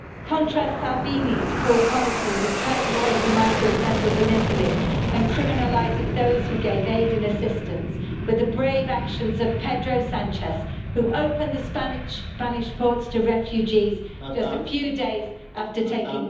Contrast Salvini's cruel policies of turning away migrant vessels in Italy and criminalising those who gave aid and assistance with the brave actions of Pedro Sánchez, who opened the Spanish ports to refugees just a few days after taking office.